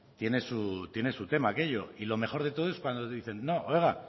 oiga tiene su tema aquello y lo mejor de todo es cuando dicen no oiga